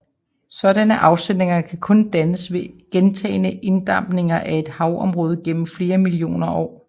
Sådanne afsætninger kan kun dannes ved gentagne inddampninger af et havområde gennem flere millioner år